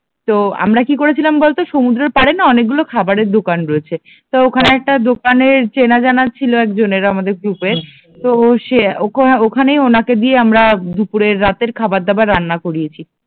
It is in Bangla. তো আমরা কি করেছিলাম বলতো সমুদ্রেরপাড়েনা অনেকগুলো খাবারের দোকান রয়েছে তো ওখানে একটা দোকানে চেনা জানা ছিল একজনের আমাদের গ্রুপের তো ওকে ওখানে ওনাকে দিয়েই আমরা দুপুরের রাতের খাবার আমরা রান্না করিয়েছি